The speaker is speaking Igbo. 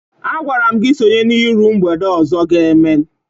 Agwara m gị sonye n'iru mgbede ọzọ a ga-eme!